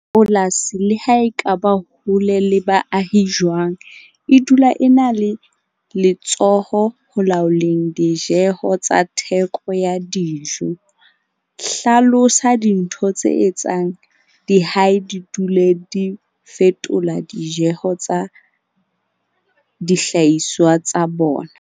Polasi le ha e ka ba hole le baahi jwang, e dula e na le letsoho ho laoleng dijeho tsa theko ya dijo. Hlalosa dintho tse etsang dihai di dule di fetola dijeho tsa dihlahiswa tsa bona.